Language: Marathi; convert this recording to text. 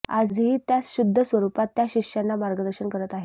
आजही त्याच शुद्ध स्वरूपात त्या शिष्यांना मार्गदर्शन करत आहेत